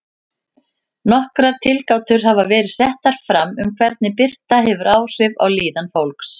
Nokkrar tilgátur hafa verið settar fram um hvernig birta hefur áhrif á líðan fólks.